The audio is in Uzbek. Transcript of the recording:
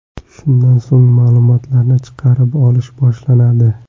Shundan so‘ng ma’lumotlarni chiqarib olish boshlanadi.